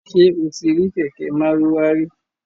Ṣé o ti rí kẹ̀kẹ́ Márúwá rí?